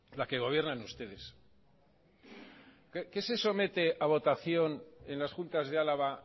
la que gobiernan ustedes qué se somete a votación en las juntas de álava